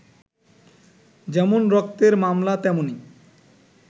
যেমন ‘রক্তের মামলা’ তেমনি